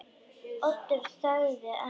Oddur þagði enn.